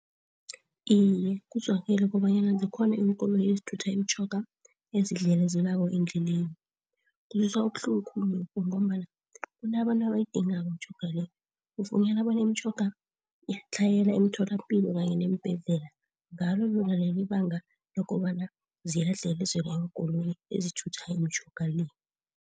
Iye, kuzwakele kobanyana zikhona iinkoloyi ezithutha imitjhoga ezidlelezelwako endleleni. Kuzwisa ubuhlungu khulu lokho ngombana kunabantu abayidingako imitjhoga le, ufunyana bona imitjhoga iyatlhayela emitholapilo kanye neembhedlela ngalo lona lelibanga lokobana ziyadlelezelwa iinkoloyi ezithutha imitjhoga le.